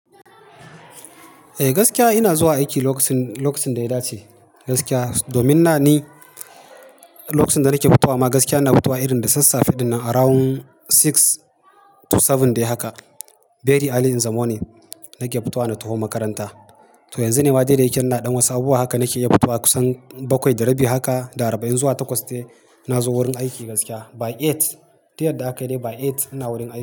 Eh gaskiya ina zuwa aiki lokacin, lokacin da ya dace gaskiya. Domin nan ne lokacin da nake fitowa ma, gaskiya ina fitowa irin da sassafe ɗin nan around six to seven dai haka. Very early in the morning, nake fitowa na taho makaranta. To yanzu ne ma dai dayake ina ɗan wasu abubuwa haka nake iya fitowa kusan bakwai da rabi haka, da arba'in zuwa takwas dai, na zo wurin aiki gaskiya, by eight. Tiyarda aka yi dai by eight, ina wurin aiki.